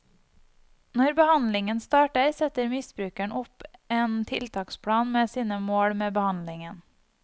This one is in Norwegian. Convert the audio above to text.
Når behandlingen starter setter misbrukeren opp en tiltaksplan med sine mål med behandlingen.